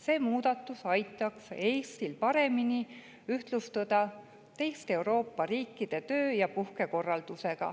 See muudatus aitaks Eestil paremini ühtlustuda teiste Euroopa riikide töö‑ ja puhkekorraldusega,